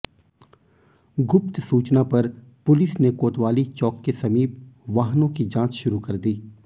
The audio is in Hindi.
गुप्त सूचना पर पुलिस ने कोतवाली चौक के समीप वाहनों की जांच शुरू कर दी